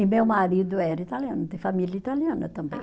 E meu marido era italiano, tem família italiana também.